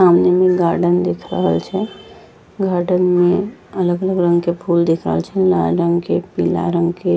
सामने में गार्डन दिख रहल छै गार्डन में अलग-अलग रंग के फूल दिख रहल छै लाल रंग के पीला रंग के।